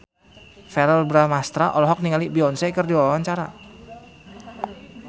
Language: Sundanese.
Verrell Bramastra olohok ningali Beyonce keur diwawancara